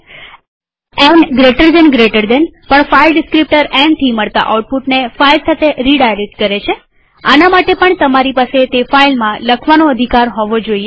ન gtgtબે જમણા ખૂણાવાળા કૌંસ પણ ફાઈલ ડીસ્ક્રીપ્ટર nથી મળતા આઉટપુટને ફાઈલ સાથે રીડાયરેક્ટ કરે છે આના માટે પણ તમારી પાસે તે ફાઈલમાં લખવાનો અધિકાર હોવો જોઈએ